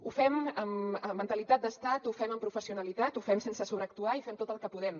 ho fem amb mentalitat d’estat ho fem amb professionalitat ho fem sense sobreactuar i fem tot el que podem